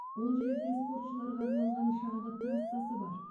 ол жерде спортшыларға арналған шаңғы трассасы бар